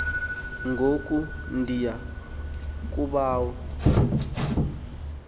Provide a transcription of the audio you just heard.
ngoku ndiya kobawo